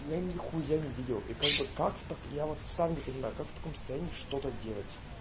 я нихуя не видел и как бы как так я вот сам не понимаю как в таком состоянии что-то делать